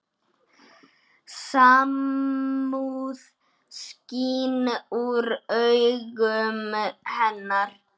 Samúð skín úr augum hennar.